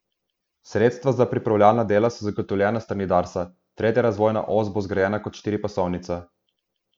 Sredstva za pripravljalna dela so zagotovljena s strani Darsa, tretja razvojna os bo zgrajena kot štiripasovnica.